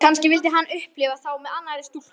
Kannski vildi hann upplifa þá með annarri stúlku.